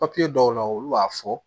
dɔw la olu b'a fɔ